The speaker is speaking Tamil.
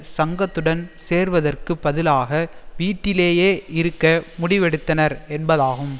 சங்கத்துடன் சேர்வதற்குப் பதிலாக வீட்டிலேயே இருக்க முடிவெடுத்தனர் என்பதாகும்